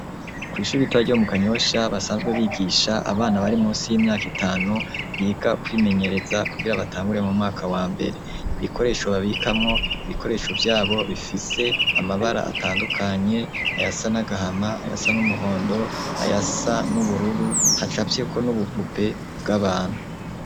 Kw'ishuri ritoya ryo mu Kanyosha basanzwe bigisha abana bari musi y'imyaka itanu biga kwimenyereza kugira batangure mu mwaka wa mbere, ibikoresho babikamwo ibikoresho vyabo bifise amabara atandukanye, ayasa n'agahama, ayasa n'umuhondo, ayasa n'ubururu, hacafyeko n'ubupupe bw'abantu.